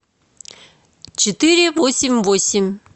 четыре восемь восемь